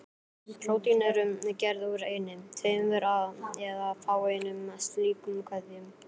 Prótín eru gerð úr einni, tveimur eða fáeinum slíkum keðjum.